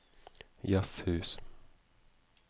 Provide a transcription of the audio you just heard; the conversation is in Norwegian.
jazzhus